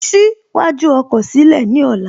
Ṣí iwájú ọkọ̀ sílẹ̀ ní ọ̀la